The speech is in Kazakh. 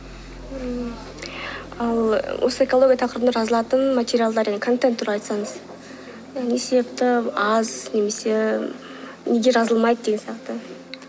ммм ал осы экология тақырыбында жазылатын материалдар мен контент туралы айтсаңыз не себепті аз немесе неге жазылмайды деген сияқты